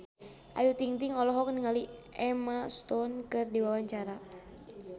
Ayu Ting-ting olohok ningali Emma Stone keur diwawancara